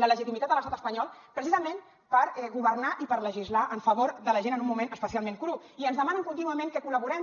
la legitimitat a l’estat espanyol precisament per governar i per legislar en favor de la gent en un moment especialment cru i ens demanen contínuament que col·laborem